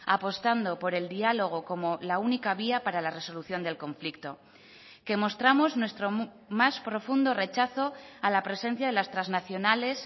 apostando por el diálogo como la única vía para la resolución del conflicto que mostramos nuestro más profundo rechazo a la presencia de las trasnacionales